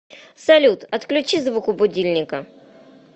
салют отключи звук у будильника